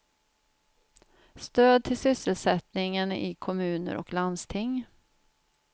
Stöd till sysselsättningen i kommuner och landsting.